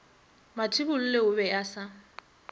mathibolle o be a sa